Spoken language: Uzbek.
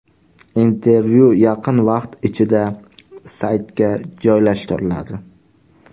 Intervyu yaqin vaqt ichida saytga joylashtiriladi.